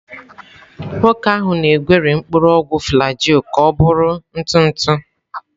Nwoke ahụ na-egweri mpuru ogwu flajil ka ọ bụrụ ntụ ntụ.